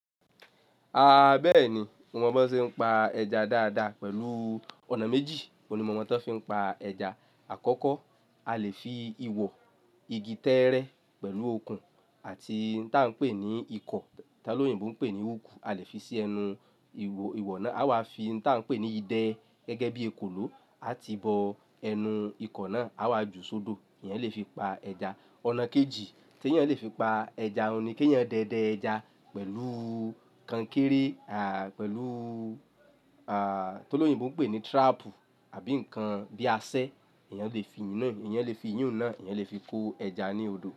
A bẹ́ẹ̀ni, mo mọ bí wọ́n ṣe ń pa ẹja dáadáa pẹ̀lú ọ̀nà méjì. Oun ni mo mọ́ tan fí ń pa ẹja. Àkọ́kọ́, a lè fi ìwọ, igi tẹ́ẹ́rẹ́ pẹ̀lú okùn àti nǹkan tí a ń pè ní ikọ̀, tí olóyìnbo ń pè ní hook, a lè fi sí ẹnu ìwọ̀ náà. Á wa fi nǹkan tí a ń pè ní idẹ gẹ́gẹ́ bí ekòló, a ti bọ ẹnu ikọ̀ náà. Á wá ju sodo. Eyan lè fi pa ẹja. Ọ̀nà kejì tí ẹ̀yàn lè fi pa ẹja ni kí ẹ̀yàn dẹdẹ ẹja pẹ̀lú kankéré, à, pẹ̀lú, à, tó lóyìnbó ń pè ní trap àbí nǹkan bíi aṣẹ, ẹ̀yàn lè fi iyun naa, ẹ̀yàn lè fi'yun náà, ẹ̀yàn lè fi kó ẹja ní odò.